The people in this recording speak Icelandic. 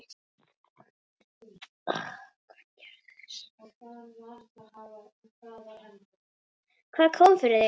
Hvað kom fyrir þig?